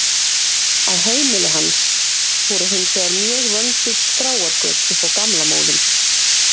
Á heimili hans voru hins vegar mjög vönduð skráargöt upp á gamla móðinn.